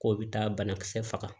K'o bi taa banakisɛ faga